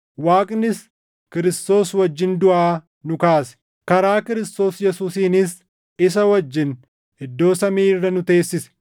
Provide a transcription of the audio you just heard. Waaqnis Kiristoos wajjin duʼaa nu kaase; karaa Kiristoos Yesuusiinis isa wajjin iddoo samii irra nu teessise;